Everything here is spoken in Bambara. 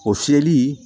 O fiyɛli